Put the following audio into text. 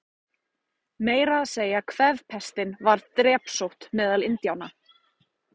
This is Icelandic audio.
Meira að segja kvefpestin varð drepsótt meðal Indíána.